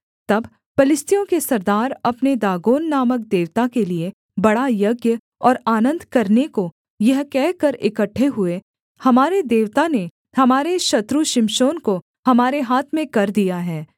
तब पलिश्तियों के सरदार अपने दागोन नामक देवता के लिये बड़ा यज्ञ और आनन्द करने को यह कहकर इकट्ठे हुए हमारे देवता ने हमारे शत्रु शिमशोन को हमारे हाथ में कर दिया है